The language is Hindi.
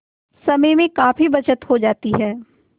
समय में काफी बचत हो जाती है